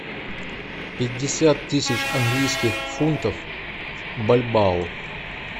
пятьдесят тысяч английских фунтов в бальбоа